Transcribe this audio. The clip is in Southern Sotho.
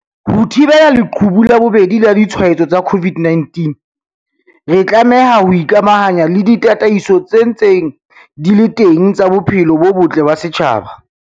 Ho thibela leqhubu la bobedi la ditshwaetso tsa COVID-19, re tlameha ho ikamahanya le ditataiso tse ntseng di le teng tsa bophelo bo botle ba setjhaba.